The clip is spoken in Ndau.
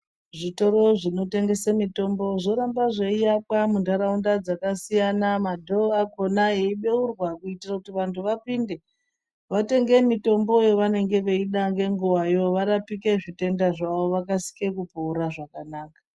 Zvitoro zvinotengese mitombo zvoramba zveiakwa muntaraunda dzakasiyana madhoo akhona eibeurwa kuitira kuti vantu vapinde, vatenge mitombo yavanenge veida ngenguwayo varapike zvitenda zvavo vakasike kupora zvakanaka.